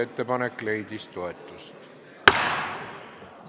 Ettepanek leidis toetust.